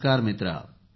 नमस्कार मित्रा